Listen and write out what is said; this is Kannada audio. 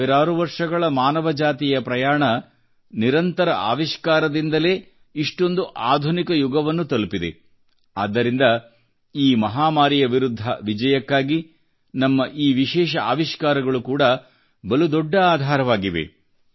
ಸಾವಿರಾರು ವರ್ಷಗಳ ಮಾನವ ಜಾತಿಯ ಪ್ರಯಾಣ ನಿರಂತರ ಆವಿಷ್ಕಾರದಿಂದಲೇ ಇಷ್ಟೊಂದು ಆಧುನಿಕ ಯುಗವನ್ನು ತಲುಪಿದೆ ಆದ್ದರಿಂದ ಈ ಮಹಾಮಾರಿಯ ವಿರುದ್ಧ ವಿಜಯಕ್ಕಾಗಿ ನಮ್ಮ ಈ ವಿಶೇಷ ಆವಿಷ್ಕಾರಗಳು ಕೂಡಾ ಬಲು ದೊಡ್ಡ ಆಧಾರವಾಗಿವೆ